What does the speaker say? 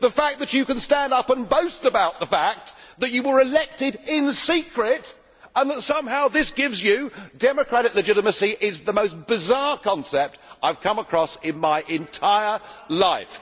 That you can stand up and boast about the fact that you were elected in secret and that somehow this gives you democratic legitimacy is the most bizarre concept I have come across in my entire life.